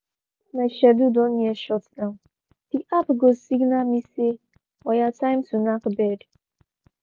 once my schedule don near shutdown the app go signal me say 'oya time to knack bed'